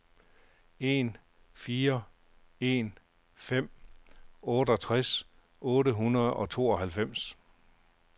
en fire en fem otteogtres otte hundrede og tooghalvfems